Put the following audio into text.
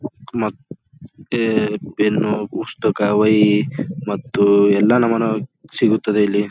ಮತ್ತೆ ಪೆನ್ನು ಪುಸ್ತಕ್ಕ ಒಯಿ ಮತ್ತು ಎಲ್ಲಾ ನಮ್ಮನ ಸಿಗುತ್ತದೆ ಇಲ್ಲಿ.